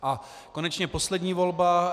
A konečně poslední volba.